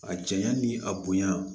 A janya ni a bonya